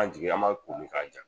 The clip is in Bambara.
An jigi an m'a t'olu k'an ja!